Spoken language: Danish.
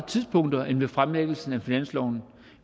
tidspunkter end ved fremlæggelsen af finansloven